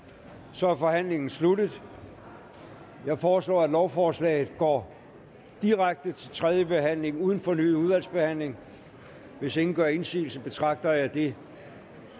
så er forhandlingen sluttet jeg foreslår at lovforslaget går direkte til tredje behandling uden fornyet udvalgsbehandling hvis ingen gør indsigelse betragter jeg det